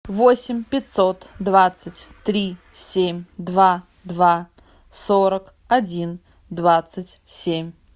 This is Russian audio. восемь пятьсот двадцать три семь два два сорок один двадцать семь